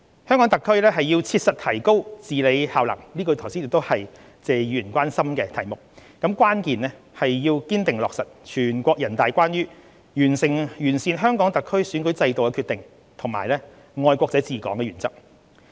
香港特區要切實提高治理效能，這是剛才謝議員關心的題目，關鍵是堅定落實全國人大關於完善香港特區選舉制度的決定及"愛國者治港"的原則。